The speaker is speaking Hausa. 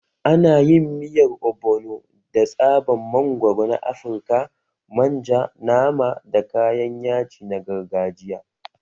Ana yin miyar Ogbono da tsaban mangwaro na Afirka, manja, nama, da kayan yaji na gargajiya.